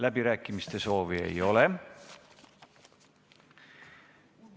Läbirääkimiste soovi ei ole.